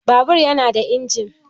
Babur ya nada injin.